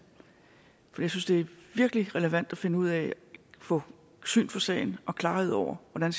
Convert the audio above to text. for jeg synes det virkelig er relevant at finde ud af og få syn for sagen og klarhed over hvordan